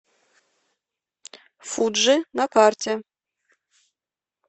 фуджи на карте